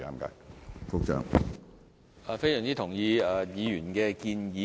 我非常認同議員的建議。